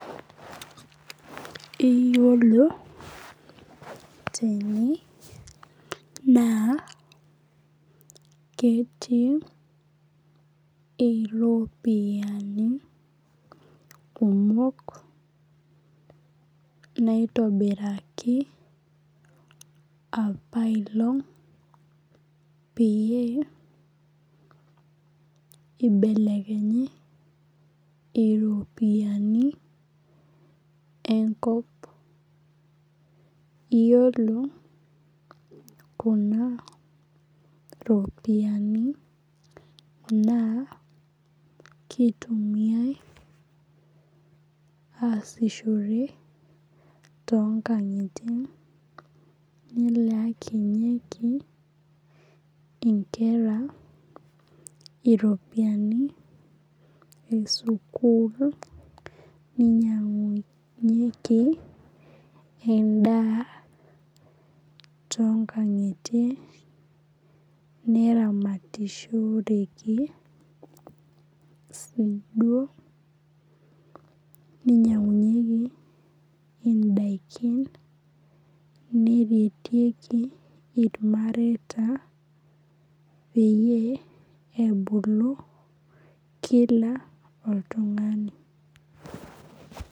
Iyiolo tene naa ketii iropiani kumok, naitobiraki apa aelong' peyie eibelekenyi iropiani enkop. Iyiolo kuna ropiani naa keitumiyai aasishore too inkang'itie, nelaakinyeki inkera e sukuul, neinyang'unyeki endaa toonkang'itie, neramatishoreki sii duo, neinyang'unyeki indaikin, neretieki ilmareita peyie ebulu kila oltung'ani.